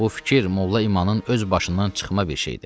Bu fikir molla İmanın öz başından çıxma bir şeydir.